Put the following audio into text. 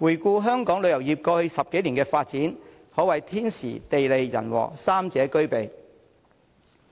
回顧香港旅遊業過去10多年的發展，可謂天時、地利、人和三者俱備。